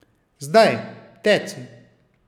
Zdaj, teci!